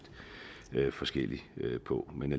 forskelligt på men